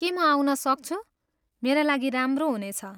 के म आउन सक्छु? मेरा लागि राम्रो हुनेछ।